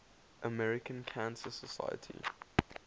american cancer society